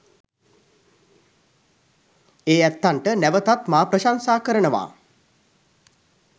ඒ ඇත්තන්ට නැවතත් මා ප්‍රශංසා කරනවා